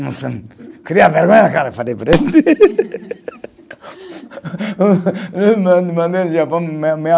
Não sei, cria vergonha na cara falei para ele.